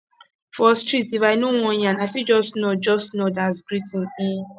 for street if i no wan yarn i fit just nod just nod as greeting um